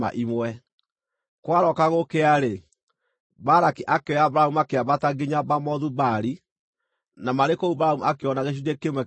Kwarooka gũkĩa-rĩ, Balaki akĩoya Balamu makĩambata nginya Bamothu-Baali, na marĩ kũu Balamu akĩona gĩcunjĩ kĩmwe kĩa andũ acio.